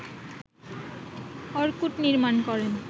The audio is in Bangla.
অর্কুট নির্মাণ করেন